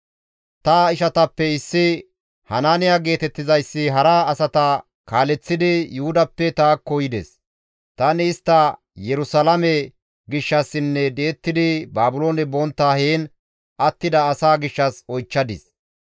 Ta ishatappe issi Hanaaniya geetettizayssi hara asata kaaleththidi Yuhudappe taakko yides; tani istta Yerusalaame gishshassinne di7ettidi Baabiloone bontta heen attida asaa gishshas oychchadis.